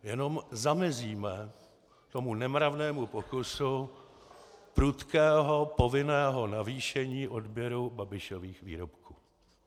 Jenom zamezíme tomu nemravnému pokusu prudkého povinného navýšení odběru Babišových výrobků.